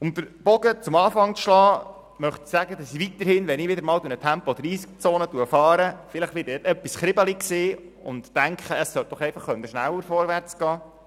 Um den Bogen zum Anfang zu spannen, möchte ich sagen, dass ich weiterhin, wenn ich wieder einmal durch eine Tempo-30-Zone fahre, vielleicht etwas kribbelig sein und denken werde, es sollte doch einfach schneller vorwärtsgehen.